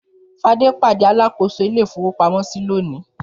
Fadé pàdé alákòóso ilé-ìfowópamọ́sí lónìí.